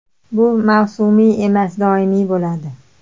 Bu mavsumiy emas, doimiy bo‘ladi.